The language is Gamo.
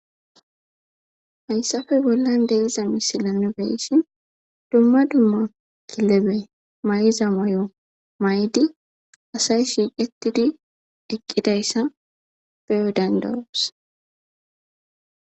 Hayssappe bollan de'yya missile nuni be'ishin dumma dumma kilebe mayo maydi assay shiqethidi eqqidaysa beo' dandaos.